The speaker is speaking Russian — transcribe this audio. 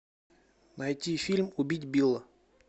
найти фильм убить билла